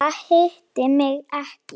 Eða hitti mig ekki.